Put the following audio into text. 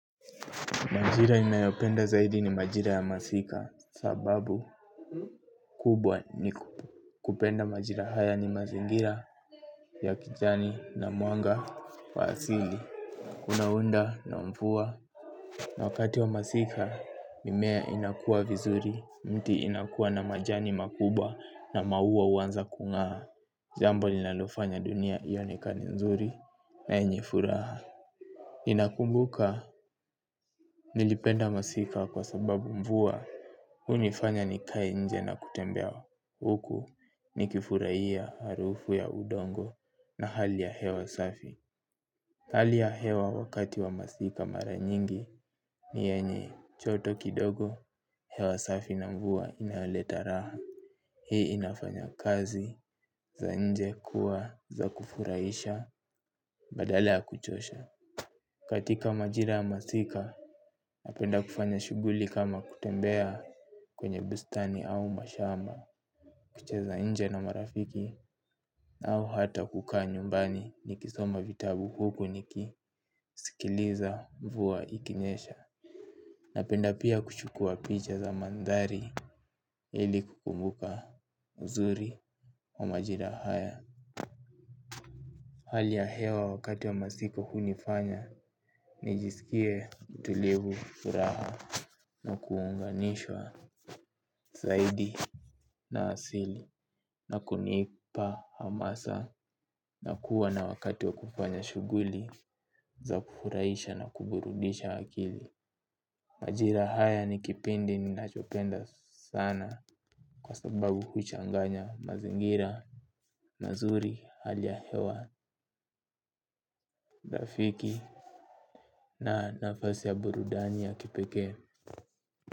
Majira nimeyopenda zaidi ni majira ya masika, sababu kubwa kupenda majira haya ni mazingira ya kijani na mwanga wa asili. Kunaunda na mvua. Na wakati wa masika, mimea inakua vizuri, mti inakua na majani makubwa na maua huanza kung'aa. Jambo ninalofanya dunia ionekane nzuri na yenye furaha. Ninakumbuka nilipenda masika kwa sababu mvua hunifanya nikae nje na kutembea huku nikifurahia harufu ya udongo na hali ya hewa safi. Hali ya hewa wakati wa masika mara nyingi ni yenye joto kidogo hewa safi na mvua inaoleta raha. Hii inafanya kazi za nje kuwa za kufurahisha badala ya kuchosha katika majira ya masika. Napenda kufanya shughuli kama kutembea kwenye bustani au mashamba. Kucheza nje na marafiki au hata kukaa nyumbani nikisoma vitabu huku nikisikiliza mvua ikinyesha. Napenda pia kuchukua picha za mandhari ili kukumbuka uzuri wa majira haya. Hali ya hewa wakati wa masika hunifanya nijisikie tulivu, furaha. Na kuunganishwa zaidi na asili na kunipa hamasa na kuwa na wakati wa kufanya shughuli za kufurahisha na kuburudisha akili. Majira haya ni kipindi ninachopenda sana, kwa sababu huchanganya mazingira mazuri hali ya hewa rafiki na nafasi ya burudani ya kipekee.